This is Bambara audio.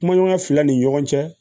Kumaɲɔgɔnya fila ni ɲɔgɔn cɛ